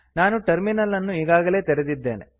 ನಾನು ಟರ್ಮಿನಲ್ ಅನ್ನು ಈಗಾಗಲೇ ತೆರೆದಿದ್ದೇನೆ